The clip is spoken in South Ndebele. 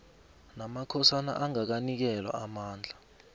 namakhosana angakanikelwa amandla